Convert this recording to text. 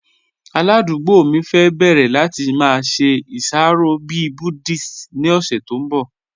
Aládùgbò mi fẹ́ bẹ̀rẹ̀ láti má ṣe iṣàrọ̀ bí Buddhist ni ọ̀ṣẹ̀ tó nbọ̀.